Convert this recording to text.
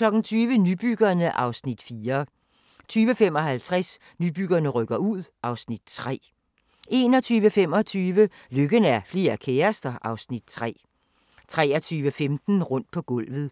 20:00: Nybyggerne (Afs. 4) 20:55: Nybyggerne rykker ud (Afs. 3) 21:25: Lykken er flere kærester (Afs. 3) 23:15: Rundt på gulvet (tir-ons)